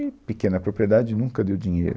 E pequena propriedade nunca deu dinheiro.